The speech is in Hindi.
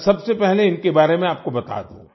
मैं सबसे पहले इनके बारे में आपको बता दूँ